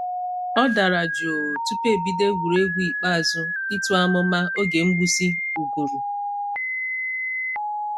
Ọ dara jụụ tupu e bido egwuregwu ikpeazụ ịtụ amụma oge mgbusị uguru.